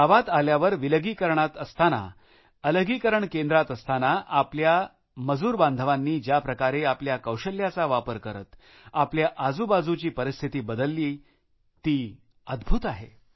गावात आल्यावर विलगीकरणात असतांना अलगीकरणात असतांना आपल्या मजूर बांधवांनी ज्याप्रकारे आपल्या कौशल्याचा वापर करत आपल्या आजूबाजूची परिस्थिती बदलली आहे ती अद्भुत आहे